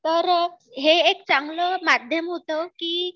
तर हे एक चांगलं माध्यम होतं की